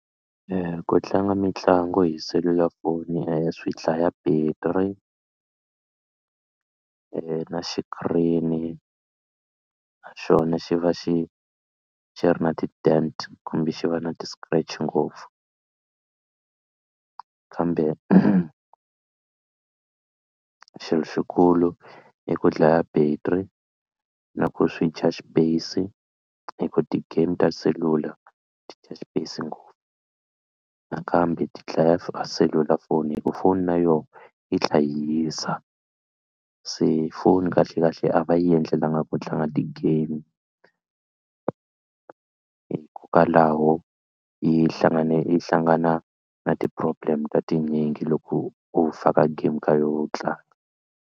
Ku tlanga mitlangu hi selulafoni swi dlaya battery na xikirini na xona xi va xi xi ri na dent kumbe xi va na ti-scratch ngopfu kambe xilo xikulu i ku dlaya battery na ku swi dya xipeyisi hi ku ti-game ta selula ti dya xipeyisi ngopfu nakambe ti dlaya a selulafoni hi ku foni na yona yi tlha yi hisa se foni kahlekahle a va yi endlelanga ku tlanga ti-game hikokwalaho yi hlangane yi hlangana na ti-problem ta tinyingi loko u faka game ka yo u tlanga.